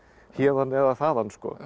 héðan eða þaðan